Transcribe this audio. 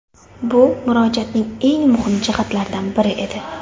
Bu Murojaatning eng muhim jihatlaridan biri edi.